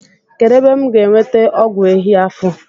Kedụ ebe m ga-enweta ọgwụ ehi afọ?